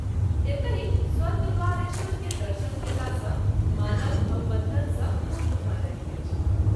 एतहि स्वर्गद्वारेश्वर के दर्शन कएला सँ मानव भववन्धन सँ मुक्त भ’ जाइत अछि।